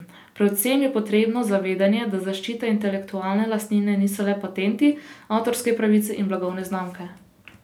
Predvsem je potrebno zavedanje, da zaščita intelektualne lastnine niso le patenti, avtorske pravice in blagovne znamke.